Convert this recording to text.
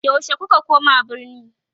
yaushe kuka koma birni?